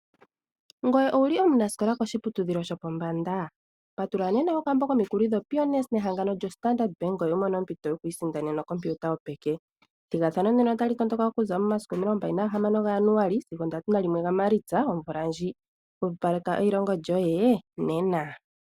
Ngoye owu li omunasikola koshiputudhilo shopombanda? Patulula nena okambo komikuli dhoPioneer nehangano lyoStandard Bank ngoye wu imonene ompito yokusindana okompiuta yopeke. Ethigathano ndino otali tondoka okuza momasiku 26 gaJanuali sigo 31 Maalitsa omvula ndjika. Hwepopaleka eilongo lyoye nena!